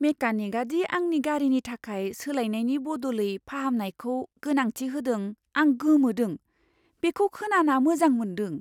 मेकानिकआ दि आंनि गारिनि थाखाय सोलायनायनि बदलै फाहामनायखौ गोनांथि होदों, आं गोमोदों। बेखौ खोनाना मोजां मोनदों।